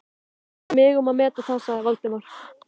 Viltu ekki láta mig um að meta það sagði Valdimar.